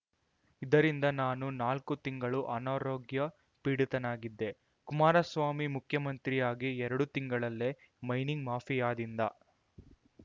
ಇದರಿಂದ ನಾನು ನಾಲ್ಕು ತಿಂಗಳು ಅನಾರೋಗ್ಯ ಪೀಡಿತನಾಗಿದ್ದೆ ಕುಮಾರಸ್ವಾಮಿ ಮುಖ್ಯಮಂತ್ರಿಯಾಗಿ ಎರಡು ತಿಂಗಳಲ್ಲೆ ಮೈನಿಂಗ್‌ ಮಾಫಿಯಾದಿಂದ